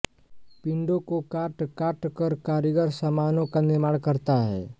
पिंडों को काटकाटकर कारीगर सामानों का निर्माण करता है